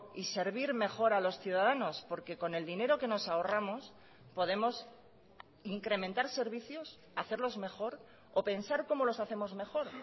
y servir mejor a los ciudadanos porque con el dinero que nos ahorramos podemos incrementar servicios hacerlos mejor o pensar cómo los hacemos mejor